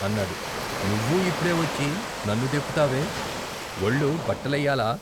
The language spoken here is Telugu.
" అన్నాడు "నువ్వూ ఇప్పుడే వచ్చి నన్ను దెప్పుతావే వొళ్లు బట్టలెయ్యాలా?